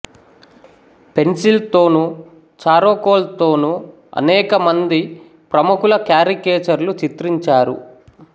pencil తోనూ charcoal తోనూ అనేకమంది ప్రముఖుల క్యారికేచర్ లు చిత్రించారు